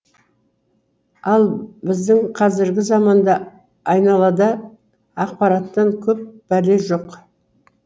ал біздің қазіргі заманда айналада ақпараттан көп бәле жоқ